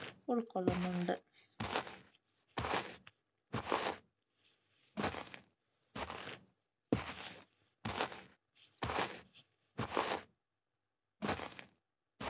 ഉൾക്കൊളളുന്നുണ്ട്.